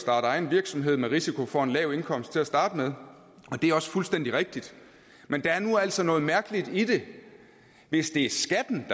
egen virksomhed med risiko for en lav indkomst til at starte med det er også fuldstændig rigtigt men der er nu altså noget mærkeligt i det hvis det er skatten